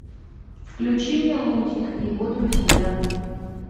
включи мне лунтик и его друзья